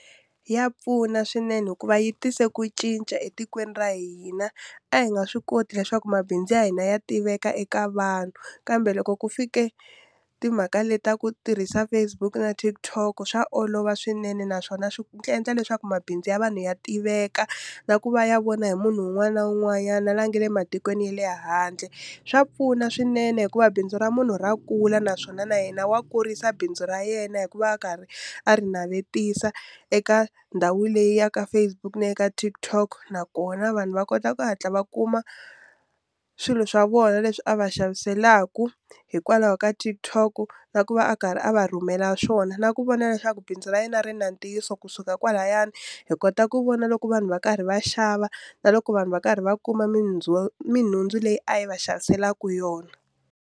Ya pfuna swinene hikuva yi tise ku cinca etikweni ra hina a hi nga swi koti leswaku mabindzu ya hina ya tiveka eka vanhu kambe loko ku fike timhaka leti ta ku tirhisa Facebook na TikTok swa olova swinene naswona swi endla leswaku mabindzu ya vanhu ya tiveka na ku va ya vona hi munhu un'wana na un'wanyana la nga le matikweni ya le handle swa pfuna swinene hikuva bindzu ra munhu ra kula naswona na yena wa kurisa bindzu ra yena hikuva a karhi a ri navetisa eka ndhawu leyi ya ka Facebook na ya ka TikTok nakona vanhu va kota ku hatla va kuma swilo swa vona leswi a va xaviselaka hikwalaho ka TikTok na ku va a karhi a va rhumela swona na ku vona leswaku bindzu ra yena ri na ntiyiso kusuka kwalayani hi kota ku vona loko vanhu va karhi va xava na loko vanhu va karhi va kuma minhundzu leyi a yi va xaviselaka yona.